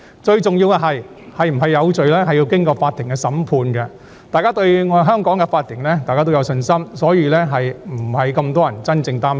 最重要的是，定罪與否必須經法庭審判，大家對香港的法庭有信心，故此，並沒有太多人真的擔心。